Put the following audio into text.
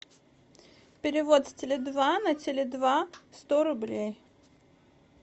перевод с теле два на теле два сто рублей